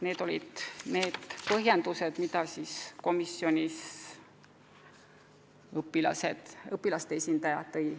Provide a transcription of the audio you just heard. Need olid need põhjendused, mis komisjonis õpilaste esindaja tõi.